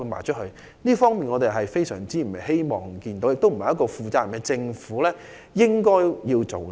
這是我們非常不希望見到的，亦並非一個負責任政府應該做的事。